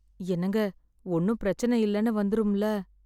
என்னங்க, ஒண்ணும் பிரச்சன இல்லன்னு வந்துரும்ல.